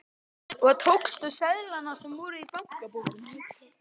Og tókstu seðlana sem voru í bankabókinni?